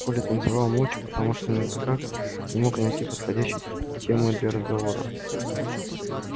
коля танцевал молча потому что никак не мог найти подходящей темы для разговора